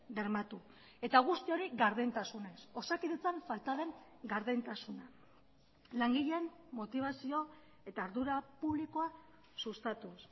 bermatu eta guzti hori gardentasunez osakidetzan falta den gardentasuna langileen motibazio eta ardura publikoa sustatuz